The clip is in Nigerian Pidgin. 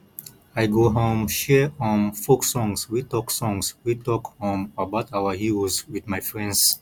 i go um share um folk songs wey talk songs wey talk um about our heroes with my friends